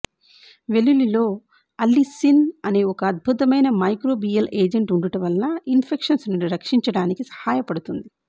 వెల్లుల్లిలో అల్లిసిన్ అనే ఒక అద్భుతమైన మైక్రోబియల్ ఏజెంట్ ఉండుట వలన ఇన్ ఫెక్షన్స్ నుండి రక్షించటానికి సహాయపడుతుంది